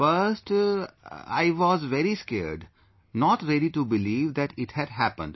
First...I was very scared, not ready to believe that it had happened